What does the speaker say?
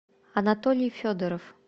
анатолий федоров